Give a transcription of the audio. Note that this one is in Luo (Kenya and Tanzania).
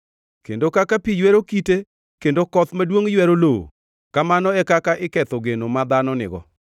kendo kaka pi ywero kite kendo koth maduongʼ ywero lowo, kamano e kaka iketho geno ma dhano nigo.